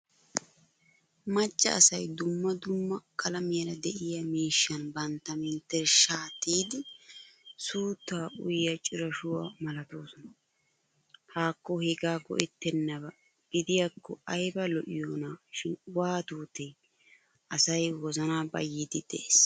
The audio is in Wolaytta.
Macca asay dumma dumma qlamiyaara de'iyaa miishshaan bantta menttershsha tiyidi suutta uyiya cirashuwaa malattoosona. Hakko hegga go'ettenaba gidiyako ayba lo'iyona shin waatutee asay wozana bayidi de'ees.